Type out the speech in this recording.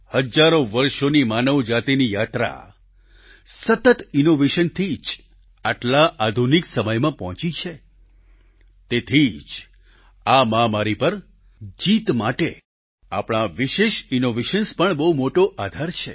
હજારો વર્ષોની માનવ જાતિની યાત્રા સતત ઈનોવેશનથી જ આટલા આધુનિક સમયમાં પહોંચી છે તેથી જ આ મહામારી પર જીત માટે આપણા આ વિશેષ ઈનોવેશન્સ પણ બહુ મોટો આધાર છે